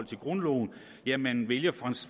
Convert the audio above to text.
til grundloven ja man vælger